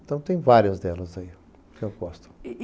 Então tem várias delas aí que eu gosto.